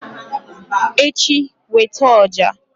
echi, weta ọjà!